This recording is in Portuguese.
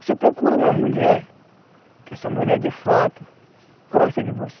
Você procura uma mulher que essa mulher, de fato, goste de você.